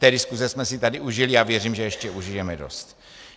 Té diskuse jsme si tady užili a věřím, že ještě užijeme dost.